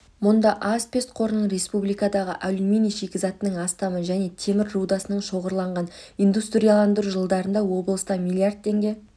мұнда асбест қорының республикадағы алюминий шикізатының астамы және темір рудасының шоғырланған индустрияландыру жылдарында облыста миллиард теңге